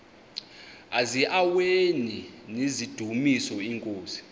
eziaweni nizidumis iinkosi